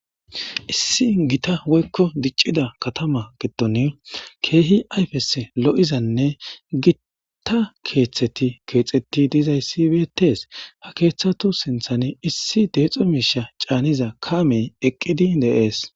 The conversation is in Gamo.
issi gita woykko diccida katama giton keehi ayfes lo7izanne gitta keeththeti keexeti dizayssi beetees ha keeththatu sinthan issi deexo miisha caaniza kaamey eqqidi deees